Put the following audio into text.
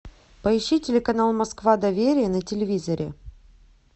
поищи телеканал москва доверия на телевизоре